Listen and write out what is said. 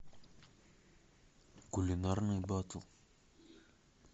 кулинарный батл